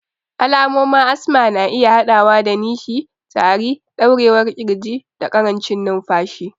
Alamomin asma na iya haɗawa da nishi, tari, ɗaurewar ƙirji, da ƙarancin numfashi.